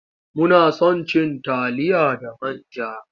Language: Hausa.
Muna son cin taliya da man ja.